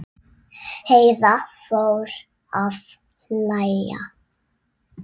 Heiða fór að hlæja.